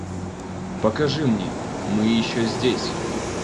покажи мне мы еще здесь